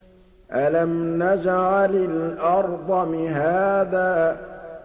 أَلَمْ نَجْعَلِ الْأَرْضَ مِهَادًا